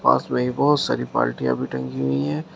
पास मे ही बहोत सारी बाल्टिया टंगी हुई हैं।